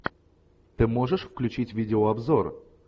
ты можешь включить видеообзор